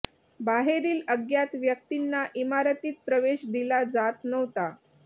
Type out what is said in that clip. बाहेरील अज्ञात व्यक्तींना इमारतीत प्रवेश दिला जात नव्हता